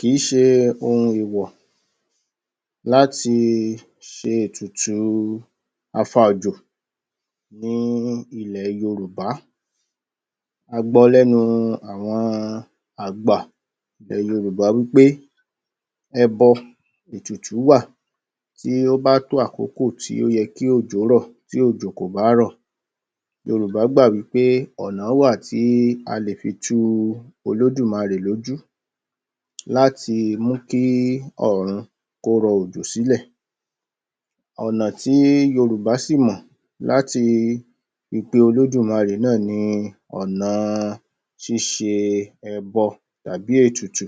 Kì í ṣe ohun èwọ̀ láti ṣe ètùtù afa-òjò ní ilẹ̀ Yorùbá, a gbọ lẹ́nu àwọn àgbà ilẹ̀ Yorùbá wí pé; ẹbọ, ètùtù wà tí ó bá tó àkókò tó yẹ kí òjò rọ̀, tí òjò kò bá rọ̀, Yorùbá gbà wí pé ọ̀nà wà tí a lè fi tu Olódùmarè lójú láti mú kí ọ̀ọ̀run kó rọ òjò sílẹ̀. Ọ̀nà tí Yorùbá sì mọ̀ láti fi pe Olódùmarè náà ni ọ̀nà ṣíṣe ẹbọ tàbí ètùtù.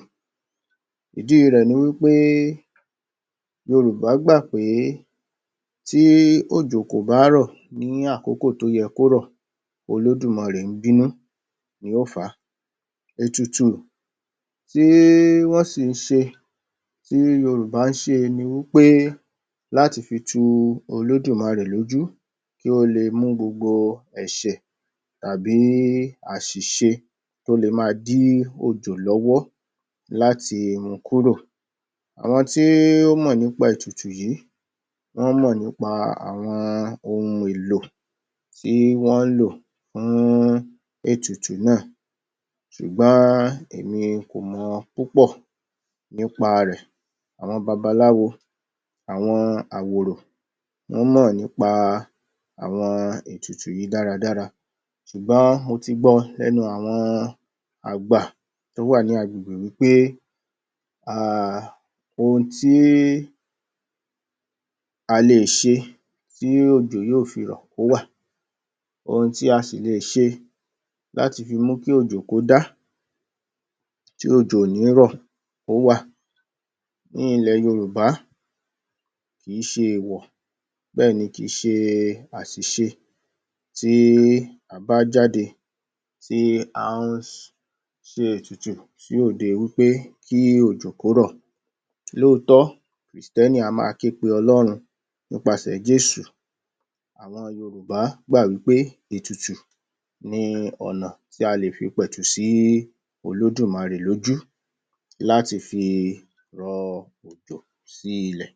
Ìdí rẹ̀ ni wí pé, Yorùbá gbà pé tí òjò kò bá rọ̀ ní àkókò tó yẹ kó rọ̀, Olódùmarè ń bínú ni ó fà á, ètùtù tí wọ́n sì ń ṣe, tí Yorùbá ń ṣe ni wí pé, láti fi tu Olúdùmarè lójú kí ó le mú gbogbo ẹ̀ṣẹ̀ tàbí àṣiṣe tó le ma dí òjò lọ́wọ́ láti mu kúrò, àwọn tí ó mọ̀ nípa ètùtù yì í, wọ́n mọ̀ nípa àwọn ohun èlò tí wọ́n ń lò fún ètùtù náà ṣùgbọ́n èmi kó mọ púpọ̀ nípa rẹ̀. Àwọn babaláwo, àwọn àwòrò wọ́n mọ̀ nípa àwọn ètùtù yì í dára-dára ṣugbọ́n mo ti gbọ lẹ́nu àwọn àgbà tó wà ní agbègbè wí pé um ohun tí a lè ṣe tí òjò yóò fi rọ̀, ó wà. Ohún tí a sì le ṣe láti fi mú kí òjò kódá, tí òjò ò ní rọ̀, ó wà. Ní ilẹ̀ Yorùbá, kì í ṣe èèwọ̀ bẹ́ẹ̀ ni kì í ṣe àṣìṣe tí a bá jáde tí a ń ṣe ètùtù sí òde wí pé kí òjò kó rọ̀. Lóòtọ, Kìrìstẹ́nì á ma ké pe Ọlọ́run nípa sẹ̀ Jésù, àwọn Yorùbá gbà wí pé ètùtù ni ọ̀nà tí alè fi pẹ̀tù sí olódùmarè lójú láti fi rọ òjò sí ilẹ̀